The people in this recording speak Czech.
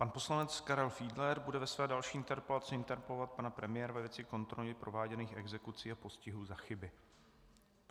Pan poslanec Karel Fiedler bude ve své další interpelaci interpelovat pana premiéra ve věci kontroly prováděných exekucí a postihů za chyby.